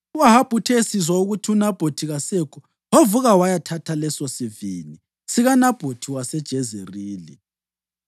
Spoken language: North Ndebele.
U-Ahabi uthe esizwa ukuthi uNabhothi kasekho, wavuka wayathatha lesosivini sikaNabhothi waseJezerili.